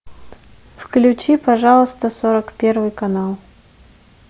включи пожалуйста сорок первый канал